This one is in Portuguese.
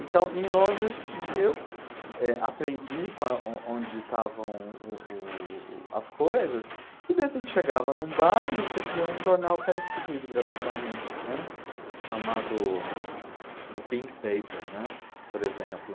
Então, em Londres, eu, eh, aprendi qua o onde estavam o o o as coisas e, de repente, chegava num bar e recebia um jornal que era distribuído gratuitamente, né, chamado The Pink Paper, né, por exemplo.